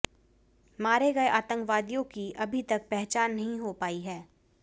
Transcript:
मारे गए आतंकवादियों की अभी तक पहचान नहीं हो पाई है